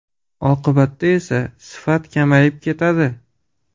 Oqibatda esa sifat kamayib ketadi.